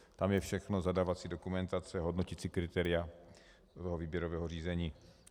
Tam je všechno, zadávací dokumentace, hodnoticí kritéria výběrového řízení.